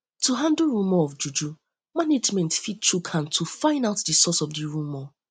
um to handle rumour of juju management fit chook hand to find out di source of di rumour